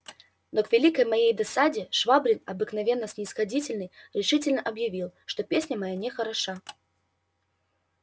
но к великой моей досаде швабрин обыкновенно снисходительный решительно объявил что песня моя нехороша